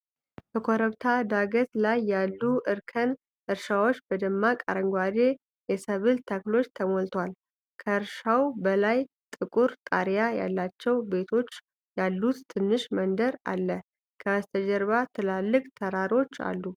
በኮረብታ ዳገት ላይ ያሉ እርከን እርሻዎች በደማቅ አረንጓዴ የሰብል ተክሎች ተሞልተዋል። ከእርሻው በላይ ጥቁር ጣሪያ ያላቸው ቤቶች ያሉት ትንሽ መንደር አለ። በስተጀርባ ትላልቅ ተራሮች አሉ።